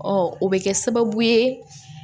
o bɛ kɛ sababu ye